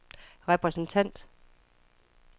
repræsentant